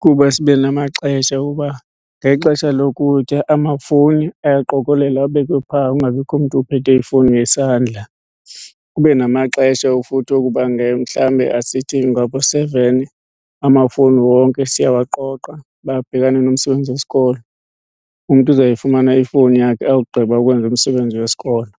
kuba sibe namaxesha uba ngexesha lokutya amafowuni ayaqokolelwa abekwe phaa kungabikho mntu uphethe ifowuni ngesandla. Kube namaxesha futhi okuba mhlawumbe asithi ngabo seven amafowuni wonke siyawaqoqa babhekane nomsebenzi wesikolo, umntu uzawuyifumana ifowuni yakhe awugqiba ukwenza umsebenzi wesikolo.